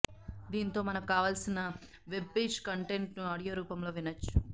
దీంతో మనకు కావాల్సిన వెబ్పేజ్ కంటెంట్ను ఆడియో రూపంలో వినొచ్చు